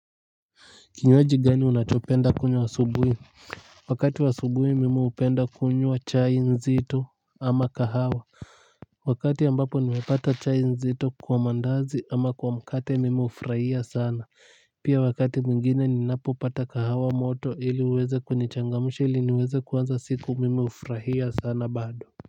Kinywaji gani unachopenda kunywa asubuhi? Wakati wa asubuhi mimi hupenda kunywa chai nzito ama kahawa. Wakati ambapo nimepata chai nzito kwa mandazi ama kwa mkate mimi hufurahia sana. Pia wakati mwingine ninapopata kahawa moto ili uweze kunichangamsha ili niweze kuanza siku mimi hufurahia sana bado.